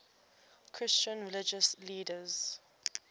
christian religious leaders